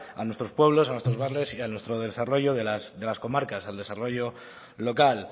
a nuestros pueblos a nuestros barrios y a nuestro desarrollo de las comarcas al desarrollo local